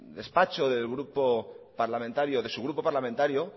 despacho de su grupo parlamentario